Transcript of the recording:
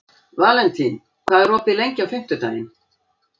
Valentín, hvað er opið lengi á fimmtudaginn?